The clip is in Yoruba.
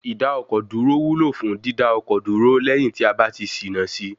Ìdá-ọkọ̀-dúró wúlò fún dídá ọkọ̀ dúró lẹyìn tí a bá ti ṣìnà sí I.